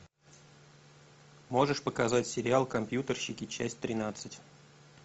можешь показать сериал компьютерщики часть тринадцать